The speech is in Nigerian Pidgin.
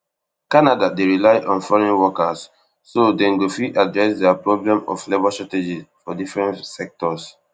canada dey rely on foreign workers so dem go fit address dia problem of labour shortages for different sectors